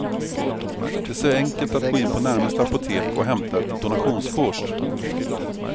Det är så enkelt att gå in på närmaste apotek och hämta ett donationskort.